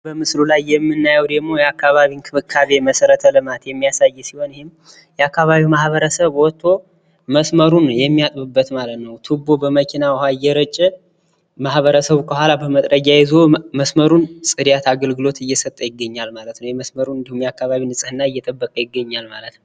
በምስሉ ላይ የምናየው ደግሞ የአካባቢ እንክብካቤ መሰረተ ልማት የሚያሳይ ይህም የአካባቢው ማህበረሰብ መስመሩን የሚያጥብበት ነው ማለት ነው። ቱቦ ዉሃ በመኪና እየረጨ ማህበረሰቡ ከኋላ መጥረጊያ ይዞ መስመሩን ጽዳት አገልግሎት እየሰጠ ይገኛል ማለት ነው። የመስመሩን እንዲሁም የአካባቢውን ነጽህና እየጠበቀ ይገኛል ማለት ነው።